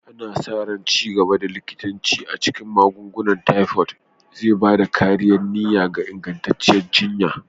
Ana sa ran ci gaban likitanci a cikin magungunan tifod zai ba da ƙarin niyya da ingantattun jiyya.